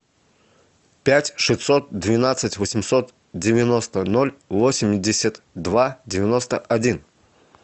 пять шестьсот двенадцать восемьсот девяносто ноль восемьдесят два девяносто один